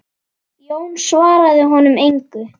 Jón svaraði honum engu.